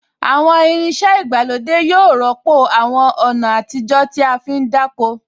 Àwọn irin iṣẹ́ ìgbàlódé yóò rọ́pò àwọn ọ̀nà àtijó tí a fí ń dáko